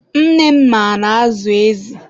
nne ma na-azụ ezi